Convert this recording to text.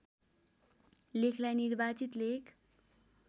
लेखलाई निर्वाचित लेख